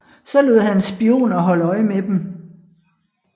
Så han lod spioner holde øje med dem